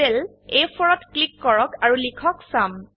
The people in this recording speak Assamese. সেল A4 ত ক্লিক কৰক আৰু লিখক চুম